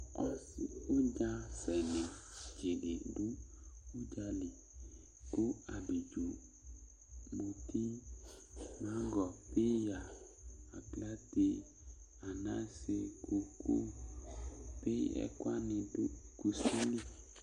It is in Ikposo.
Ɔsɩ udzasɛnɩ dɩnɩ dʋ udzǝli Kʋ abidzo, muti, maŋgɔ, peyǝ, aklate, anase Ɛkʋ wanɩ adʋ kusi li